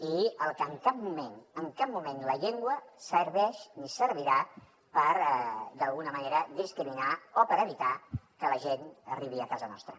i en cap moment en cap moment la llengua serveix ni servirà per d’alguna manera discriminar o per evitar que la gent arribi a casa nostra